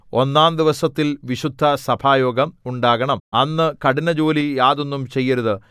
ഒന്നാം ദിവസത്തിൽ വിശുദ്ധസഭായോഗം ഉണ്ടാകണം അന്ന് കഠിന ജോലി യാതൊന്നും ചെയ്യരുത്